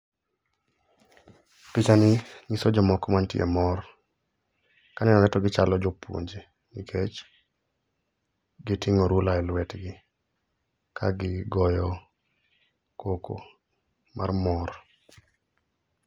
Pichani nyiso jomoko mantie e mor. Kanenore to gichalo jopuonje nikech giting'o ruler elwetgi ka gigoyo koko mar mor.